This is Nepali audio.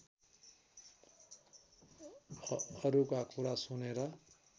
अरूका कुरा सुनेर